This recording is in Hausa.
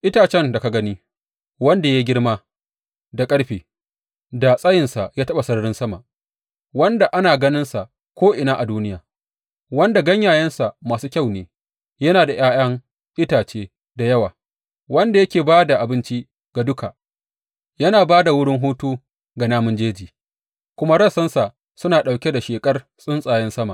Itacen da ka gani; wanda ya yi girma da ƙarfe, da tsayinsa ya taɓa sararin sama, wanda ana ganinsa ko’ina a duniya, wanda ganyayensa masu kyau ne yana da ’ya’yan itace da yawa, wanda yake ba da abinci ga duka, yana ba da wurin hutu ga namun jeji, kuma rassansa suna ɗauke da sheƙar tsuntsayen sama.